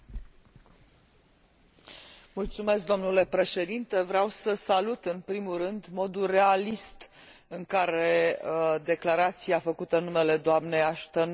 Vreau să salut, în primul rând, modul realist în care declarația făcută în numele dnei Ashton abordează situația din Kazahstan.